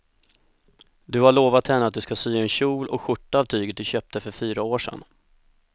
Du har lovat henne att du ska sy en kjol och skjorta av tyget du köpte för fyra år sedan.